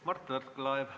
Mart Võrklaev, palun!